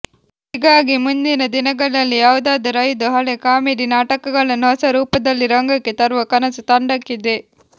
ಹೀಗಾಗಿ ಮುಂದಿನ ದಿನಗಳಲ್ಲಿ ಯಾವುದಾದರೂ ಐದು ಹಳೆ ಕಾಮಿಡಿ ನಾಟಕಗಳನ್ನು ಹೊಸರೂಪದಲ್ಲಿ ರಂಗಕ್ಕೆ ತರುವ ಕನಸು ತಂಡಕ್ಕಿದೆ